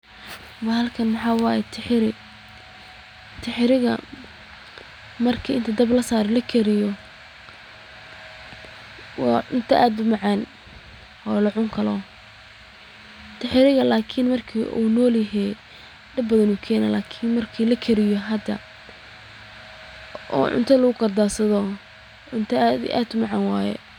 Bahalkan waxaa waye tixiri, marki lakariyo waa cunto aad umacaan, marki uu nool yahay dib badan ayuu keena, lakin marki lakariyo cunto aad umacaan waye.